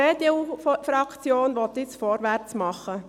Die EDU-Fraktion will jetzt vorwärtsmachen.